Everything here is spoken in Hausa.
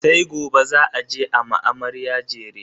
sai gobe za a je a ma amarya jere